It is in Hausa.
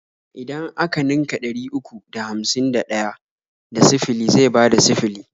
Idan a ka ninka ɗari uku da hamsin da ɗaya da sifili zai bada sifili.